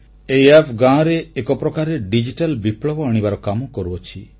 ଏହି ଆପ୍ ଗାଁରେ ଏକପ୍ରକାରେ ଡିଜିଟାଲ ବିପ୍ଳବ ଆଣିବାର କାମ କରୁଅଛି